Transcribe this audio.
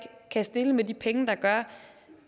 kan stille med de penge der gør